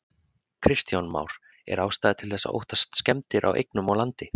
Kristján Már: Er ástæða til þess að óttast skemmdir á eignum og landi?